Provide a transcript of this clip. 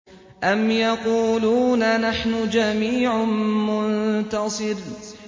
أَمْ يَقُولُونَ نَحْنُ جَمِيعٌ مُّنتَصِرٌ